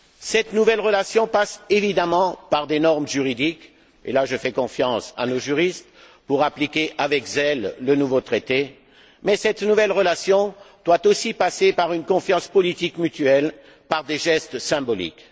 Cette nouvelle relation passe évidemment par des normes juridiques et là, je fais confiance à nos juristes, pour appliquer avec zèle le nouveau Traité mais elle doit aussi passer par une confiance politique mutuelle, par des gestes symboliques.